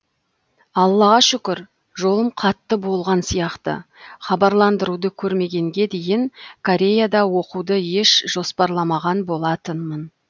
аллаға шүкір жолым қатты болған сияқты хабарландыруды көрмегенге дейін кореяда оқуды еш жоспарламаған болатынмын